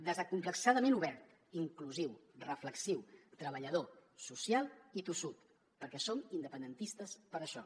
desacomplexadament obert inclusiu reflexiu treballador social i tossut perquè som independentistes per això